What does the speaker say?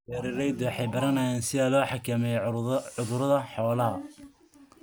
Beeraleydu waxay baranayaan sida loo xakameeyo cudurrada xoolaha.